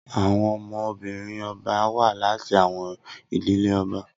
Awọn ọmọ-binrin ọba wa lati awọn idile ọba